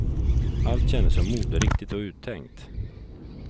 Allt kändes så moderiktigt och uttänkt.